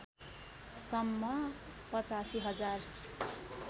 सम्म ८५ हजार